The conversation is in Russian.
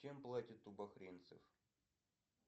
чем платят у бахринцев